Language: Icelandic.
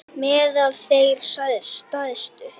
Meðal þeirra stærstu eru